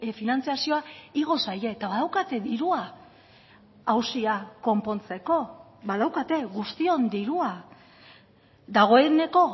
finantzazioa igo zaie eta badaukate dirua auzia konpontzeko badaukate guztion dirua dagoeneko